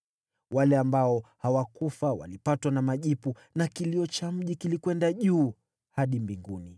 Wale ambao hawakufa walipatwa na majipu, na kilio cha mji kilikwenda juu hadi mbinguni.